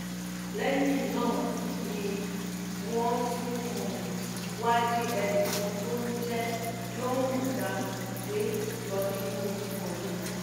lẹ́yìn náà ni wọ́n tún um wáá jí ẹnì kan tó ń jẹ́ lorhon dam gbé lọ nínú ìkọlù náà